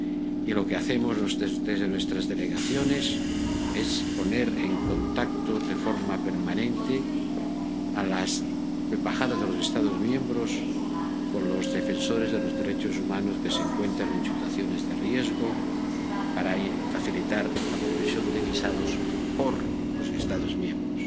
Y lo que hacemos desde nuestras delegaciones es poner en contacto de forma permanente a las embajadas de los Estados miembros con los defensores de los derechos humanos que se encuentran en situaciones de riesgo, para facilitar la provisión de visados por los Estados miembros.